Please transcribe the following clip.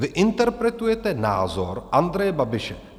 Vy interpretujete názor Andreje Babiše.